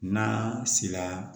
N'a sera